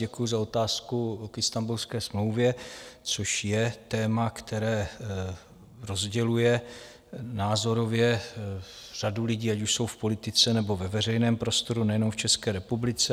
Děkuji za otázku k Istanbulské smlouvě, což je téma, které rozděluje názorově řadu lidí, ať už jsou v politice, nebo ve veřejném prostoru, nejenom v České republice.